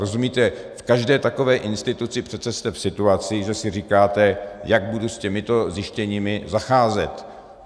Rozumíte, v každé takové instituci jste přece v situaci, že si říkáte, jak budu s těmito zjištěními zacházet.